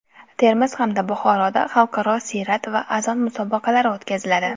Termiz hamda Buxoroda xalqaro siyrat va azon musobaqalari o‘tkaziladi.